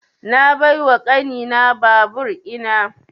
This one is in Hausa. Na bai wa ƙani na babur ina